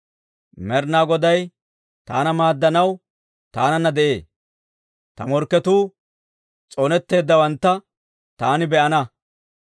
Med'inaa Goday taana maaddanaw taananna de'ee; ta morkketuu s'oonetteeddawantta taani be'ana.